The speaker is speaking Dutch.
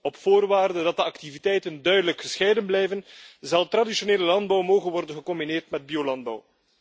Op voorwaarde dat de activiteiten duidelijk gescheiden blijven, zal traditionele landbouw mogen worden gecombineerd met biolandbouw.